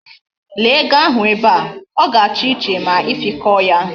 Lee ego ahu be a! O ga-acha iche ma ifikoo yaa.